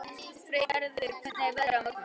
Freygarður, hvernig er veðrið á morgun?